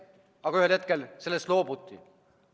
Aga ühel hetkel sellest loobuti.